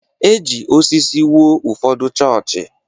E ji osisi wuo ụfọdụ chọọchị.